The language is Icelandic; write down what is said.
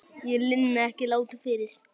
Ég linni ekki látum fyrr.